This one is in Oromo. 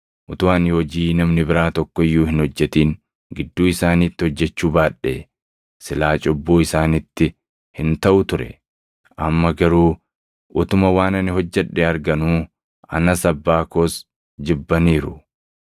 Utuu ani hojii namni biraa tokko iyyuu hin hojjetin gidduu isaaniitti hojjechuu baadhee silaa cubbuu isaanitti hin taʼu ture. Amma garuu utuma waan ani hojjedhe arganuu anas Abbaa koos jibbaniiru.